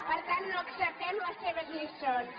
per tant no acceptem les seves lliçons